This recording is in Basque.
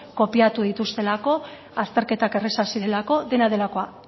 kopiatu dituztelako azterketak errazak zirelako dena delakoa